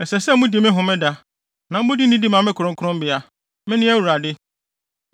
“ ‘Ɛsɛ sɛ mudi me Homeda, na mode nidi ma me kronkronbea. Mene Awurade.